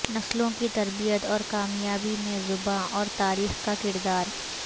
نسلوں کی تربیت اور کامیابی میں زبان اور تاریخ کا کردار